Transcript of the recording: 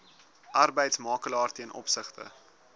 arbeidsmakelaar ten opsigte